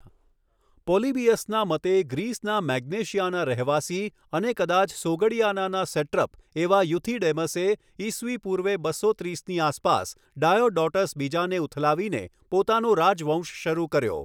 પોલીબીયસના મતે ગ્રીસના મેગ્નેશિયાના રહેવાસી અને કદાચ સોગડિયાનાના સેટ્રપ એવા યુથિડેમસે, ઇસવી પૂર્વે બસો ત્રીસની આસપાસ ડાયોડોટસ બીજાને ઉથલાવીને પોતાનો રાજવંશ શરૂ કર્યો.